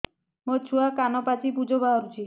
ମୋ ଛୁଆ କାନ ପାଚି ପୂଜ ବାହାରୁଚି